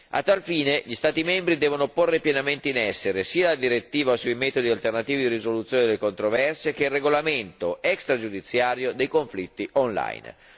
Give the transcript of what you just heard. A tal fine gli Stati membri devono porre pienamente in essere sia la direttiva sui metodi alternativi di risoluzione delle controversie sia il regolamento extragiudiziario dei conflitti online.